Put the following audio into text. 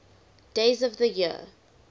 days of the year